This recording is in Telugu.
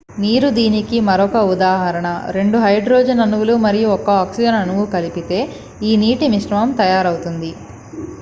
నీరు దీనికి మరొక ఉదాహరణ రెండు హైడ్రోజన్ అణువులు మరియు ఒక ఆక్సిజన్ అణువును కలిపితే ఈ నీటి మిశ్రమం తయారవుతుంది